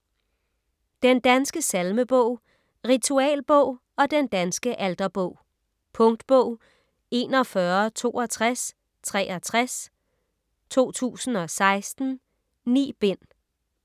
Den danske salmebog - Ritualbog og Den danske alterbog Punktbog 416263 2016. 9 bind.